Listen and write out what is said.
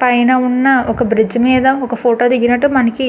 పైన ఉన్న ఒక బ్రిడ్జి మీద ఒక ఫోటో దిగినట్టు మనకి --